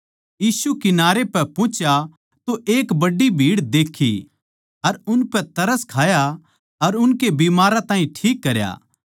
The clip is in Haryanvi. यीशु कंठारे पै पुहुचा तो एक बड्डी भीड़ देक्खी अर उनपै तरस खाया अर उनके बिमारां ताहीं ठीक करया